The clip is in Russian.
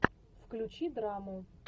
включи драму